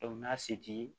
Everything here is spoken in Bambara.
n'a se t'i ye